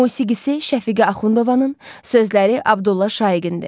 Musiqisi Şəfiqə Axundovanın, sözləri Abdulla Şaiqindir.